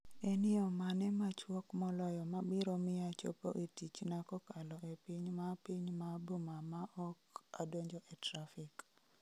En yo mane machuok moloyo mabiro miya chopo e tichna kokalo e piny ma piny ma boma ma ok adonjo e trafik